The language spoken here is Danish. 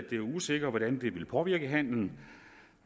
det er usikkert hvordan det vil påvirke handelen